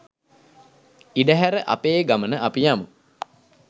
ඉඩ හැර අපේ ගමන අපි යමු.